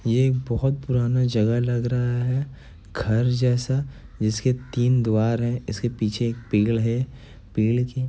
यह एक बहुत पुराना जगह लग रहा है घर जैसा जिसके तीन दीवार है इस के पीछे पिलर है पेड़ --